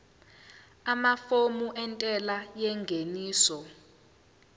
amafomu entela yengeniso